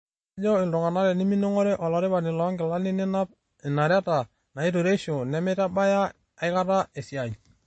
Kejo iltunganak, teniming'or olaripani loo nkilani ninap inareta naitureisho, nemeitabaya aikata esiaai.